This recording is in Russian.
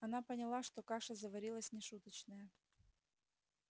она поняла что каша заварилась нешуточная